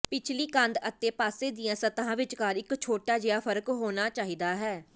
ਪਿਛਲੀ ਕੰਧ ਅਤੇ ਪਾਸੇ ਦੀਆਂ ਸਤਹਾਂ ਵਿਚਕਾਰ ਇੱਕ ਛੋਟਾ ਜਿਹਾ ਫਰਕ ਹੋਣਾ ਚਾਹੀਦਾ ਹੈ